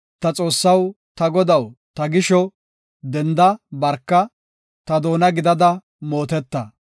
Ta Xoossaw, ta Godaw ta gisho, denda; barka; ta doona gidada mooteta.